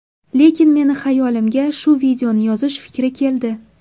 Lekin meni xayolimga shu videoni yozish fikri keldi.